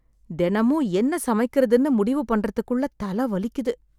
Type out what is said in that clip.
தினமும் என்ன சமைக்கிறதுன்னு முடிவு பண்றதுக்குள்ள தலை வலிக்குது.